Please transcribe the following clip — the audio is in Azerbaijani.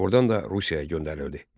Ordan da Rusiyaya göndərildi.